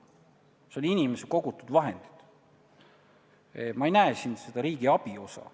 Need on inimese kogutud vahendid, ma ei näe siin seda riigi abi osa.